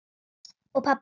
Og pabbi hló.